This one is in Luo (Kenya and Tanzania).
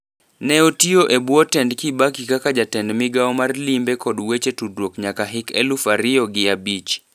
Neotio e bwo tend Kibaki kaka jatend migao mar limbe kod weche tudruok nyaka hik eluf ario gi abich.